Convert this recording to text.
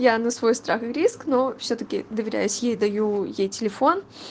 я на свой страх и риск но всё-таки доверять ей даю ей телефон